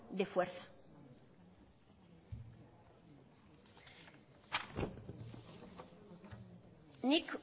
de fuerza nik